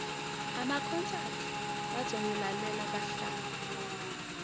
amakhonsathi bazongilalela bahlabe